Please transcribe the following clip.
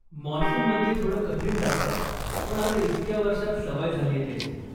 मान्सूनमध्ये थोडं कठीण जातं, पण आता इतक्या वर्षात सवय झालीये त्याची.